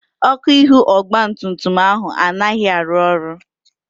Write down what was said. Ọ́kụ́ ihu ọgbatumtum ahụ anaghị arụ ọrụ.